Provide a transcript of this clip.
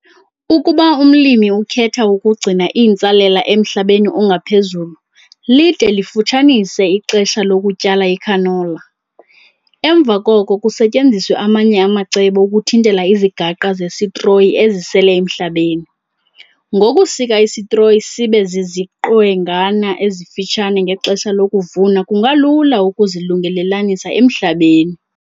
Ukuba umlimi ukhetha ukugcina intsalela emhlabeni ongaphezulu lide lifutshanise ixesha lokutyala icanola, emva koko kusetyenziswe amanye amacebo ukuthintela izigaqa zesitroyi ezisele emhlabeni. Ngokusika isitroyi sibe ziziqwengana ezifutshane ngexesha lokuvuna kungalula ukuzilungelelanisa emhlabeni.